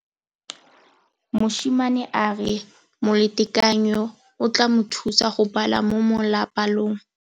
Mosimane a re molatekanyô o tla mo thusa go bala mo molapalong.